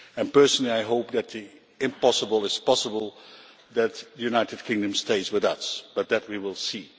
Personally I hope that the impossible is possible and that the United Kingdom stays with us, but that we will see.